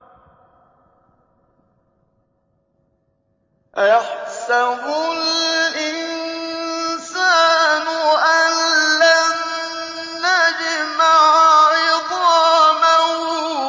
أَيَحْسَبُ الْإِنسَانُ أَلَّن نَّجْمَعَ عِظَامَهُ